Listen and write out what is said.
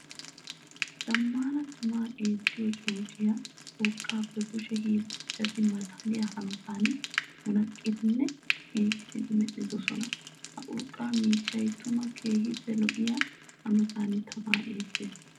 Zamaana tamaa eettiyo coociya urqqappe kushe hiillanchchatti malaalliya hanotan munaqqiddinne giigissiddi medhdhosonna. Ha urqqa miishshay tuma keehippe lo'iya hanotan tamaa eetes.